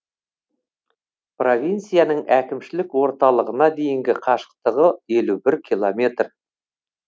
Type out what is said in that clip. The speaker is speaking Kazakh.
провинцияның әкімшілік орталығына дейінгі қашықтығы елу бір километр